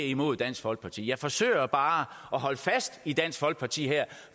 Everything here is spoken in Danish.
imod dansk folkeparti jeg forsøger bare at holde fast i dansk folkeparti her